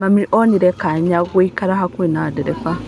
Mami onire kanya gagũikara hakuhĩ na ndereba.